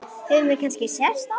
Höfum við kannski sést áður?